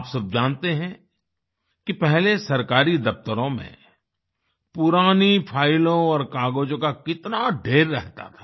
आप सब जानते हैं कि पहले सरकारी दफ्तरों में पुरानी फाइलों और कागजों का कितना ढ़ेर रहता था